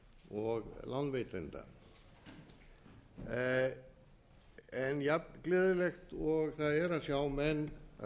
og lánveitenda jafn gleðilegt og það er að sjá menn